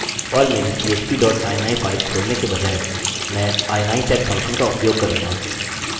और मेरी php dot ini file खोलने के बजाय मैं ini set फंक्शन का उपयोग करूँगा